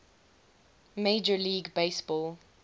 major league baseball